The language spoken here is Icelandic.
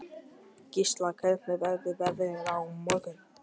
Gísla, hvernig verður veðrið á morgun?